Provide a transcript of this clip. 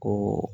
Ko